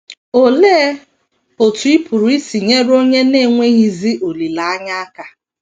Olee otú ị pụrụ isi nyere onye na - enweghịzi olileanya aka?